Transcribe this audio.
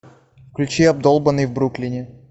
включи обдолбанный в бруклине